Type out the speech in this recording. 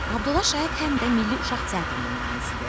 Abdullah Şaiq həm də milli uşaq teatrının banisidir.